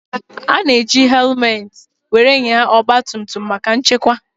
A ga eji helumet wéré nyaa ọgba tum tum maka nchekwa